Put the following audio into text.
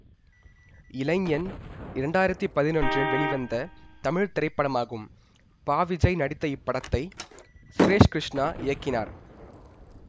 இளைஞன் இரண்டாயிரத்தி பதினொன்றில் வெளிவந்த தமிழ் திரைப்படமாகும் பா விஜய் நடித்த இப்படத்தை சுரேஷ் கிருஷ்ணா இயக்கினார்